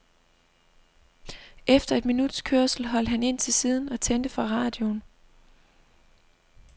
Efter et minuts kørsel holdt han ind til siden og tændte for radioen.